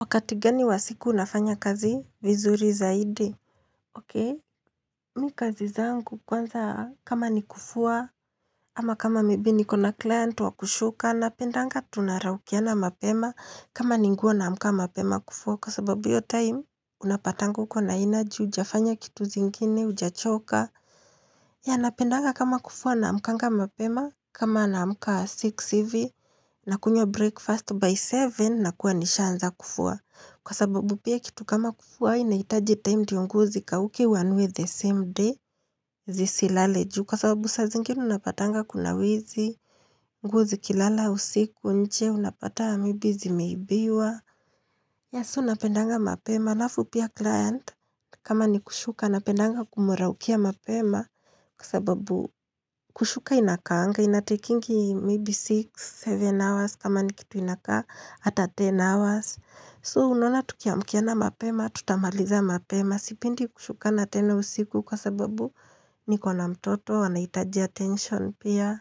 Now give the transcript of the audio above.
Wakati gani wa siku unafanya kazi vizuri zaidi Okey mimi kazi zangu kwanza kama ni kufua ama kama maybe niko na client wa kushuka napendanga tunaraukiana mapema kama ni nguo naamka mapema kufua kwa sababu hiyo time unapatanga uko na energy hujafanya kitu zingine hujachoka ya napendanga kama kufua naamkanga mapema kama na mkama six hivi Nakunywa breakfast by seven na kuwa nishaanza kufua Kwa sababu pia kitu kama kufua inahitaji time ndiyo nguo zikauke uanue the same day zisilale juu. Kwa sababu saa zingine unapatanga kuna wizi, nguo zikilala usiku, nje unapata maybe zimeibiwa Yah so napendanga mapema. Alafu pia client kama ni kushuka napendanga kumraukia mapema. Kwa sababu kushuka inakaanga inatekingi maybe six, seven hours kama ni kitu inakaa hata ten hours. So, unaona tukiamkiana mapema, tutamaliza mapema, sipendi kushukana tena usiku kwa sababu niko na mtoto anahitaji attention pia.